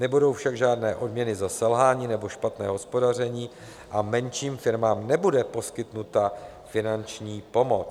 Nebudou však žádné odměny za selhání nebo špatné hospodaření a menším firmám nebude poskytnuta finanční pomoc.